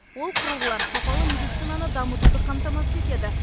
ол құрылғылар сапалы медицинаны дамытуды қамтамасыз етеді